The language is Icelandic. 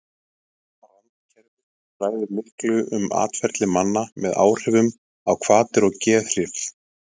randkerfið ræður miklu um atferli manna með áhrifum á hvatir og geðhrif